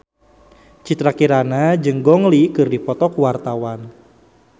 Citra Kirana jeung Gong Li keur dipoto ku wartawan